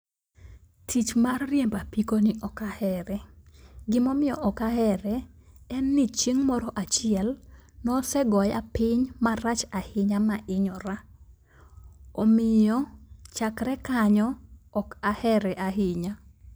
Tich mar riembo apiko ni ok ahere. Gimomiyo ok ahere en ni chieng' moro achiel nosegoya piny marach ahinya mahinyora. Omiyo chakre kanyo, ok ahere ahinya.